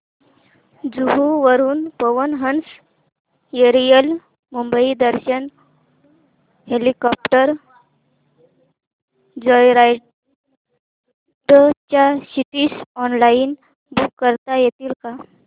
जुहू वरून Pawan Hans aerial Mumbai Darshan helicopter joyride च्या seats online book करता येतील का